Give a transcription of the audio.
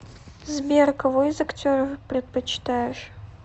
сбер кого из актеров предпочитаешь